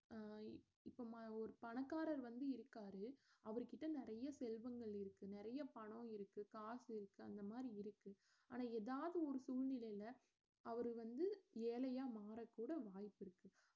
அஹ் இப்ப ம~ ஒரு பணக்காரர் வந்து இருக்காரு அவர் கிட்ட நிறைய செல்வங்கள் இருக்கு நிறைய பணம் இருக்கு காசு இருக்கு அந்த மாதிரி இருக்கு ஆனா எதாவது ஒரு சூழ்நிலைல அவரு வந்து ஏழையா மாறக்கூட வாய்ப்பிருக்கு